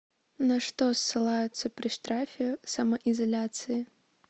на что ссылаются при штрафе самоизоляции